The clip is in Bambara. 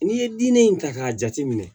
N'i ye diinɛ in ta k'a jate minɛ